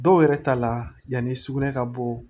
Dɔw yɛrɛ ta la yanni sugunɛ ka bɔ